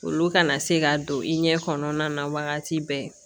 Olu kana se ka don i ɲɛ kɔnɔna na wagati bɛɛ